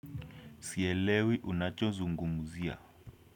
Sielewi unacho zungumzia.